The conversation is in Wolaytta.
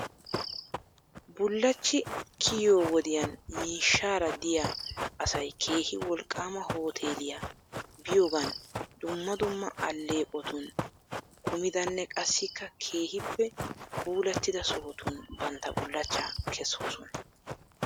Bullachchy kiyoo wodiyan miishshaara diyaa asay keehi wloqaama hooteeliyaa biyoogan dumma dumma aleeqotun kumidanne qassikka keehippe puulattida sohotun bantta bullachchaa kesoosona .